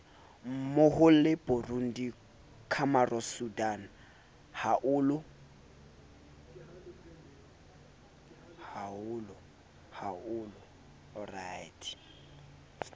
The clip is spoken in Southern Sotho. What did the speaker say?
mmohole burundi comoros sudan haolo